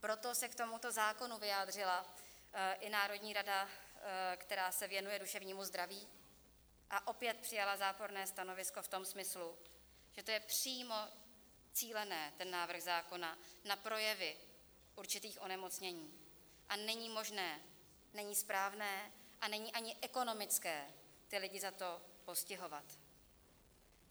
Proto se k tomuto zákonu vyjádřila i národní rada, která se věnuje duševnímu zdraví, a opět přijala záporné stanovisko v tom smyslu, že to je přímo cílené, ten návrh zákona, na projevy určitých onemocnění, a není možné, není správné a není ani ekonomické ty lidi za to postihovat.